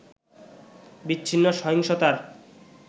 বিচ্ছিন্ন সহিংসতার